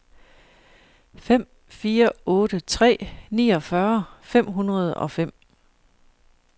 fem fire otte tre niogfyrre fem hundrede og fem